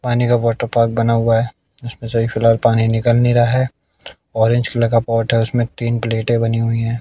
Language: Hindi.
पानी का वाटर पार्क बना हुआ है जिसमें से फिलहाल पानी नहीं रहा है ऑरेंज कलर का पॉट है उसमें तीन प्लेटें बनी हुई हैं।